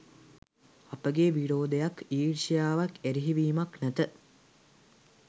අපගේ විරෝධයක්, ඊර්ෂ්‍යාවක්, එරෙහිවීමක් නැත.